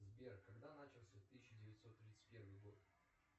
сбер когда начался тысяча девятьсот тридцать первый год